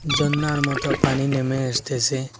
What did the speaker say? ঝরনার মতো পানি নেমে এসতেসে।